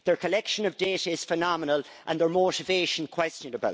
Their collection of data is phenomenal and their motivation questionable.